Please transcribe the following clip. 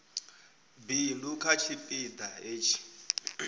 bindu kha tshipi ḓa hetshi